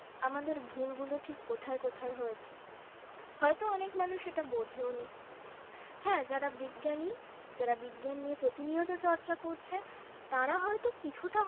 আমাদের ভুলগুলো ঠিক কোথায় কোথায় হয়েছে হয়তো অনেক মানুষ সেটা বুঝেওনি হ্যাঁ যারা বিজ্ঞানী, যারা বিজ্ঞান নিয়ে প্রতিনিয়ত চর্চা করছে তারা হয়তো কিছুটা